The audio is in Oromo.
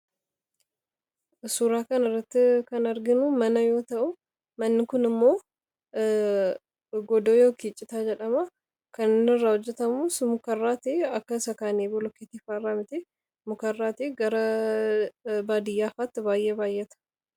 Suuraa kan irratti kan arginu mana yoo ta'u manni kun immoo godoo yookii citaa jedhama. kan irraa hojjatamuus mukarraatii akka isa kaanii boloketii faaraa miti mukarraatii gara baadiyyaafaatti baay'ee baayyata.